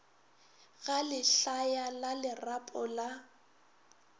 ga lehlaya la lerapo la